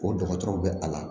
O dɔgɔtɔrɔw bɛ a la